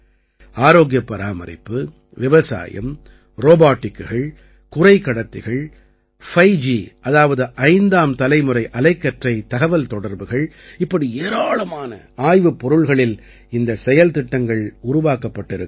ஆரோக்கியப் பராமரிப்பு விவசாயம் ரோபாட்டிக்குகள் குறைக்கடத்திகள் 5ஜி அதாவது ஐந்தாம் தலைமுறை அலைக்கற்றை தகவல்தொடர்புகள் இப்படி ஏராளமான ஆய்வுப் பொருள்களில் இந்தச் செயல்திட்டங்கள் உருவாக்கப்பட்டிருக்கின்றன